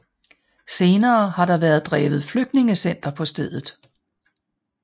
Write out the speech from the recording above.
Senere har der været drevet flygtningecenter på stedet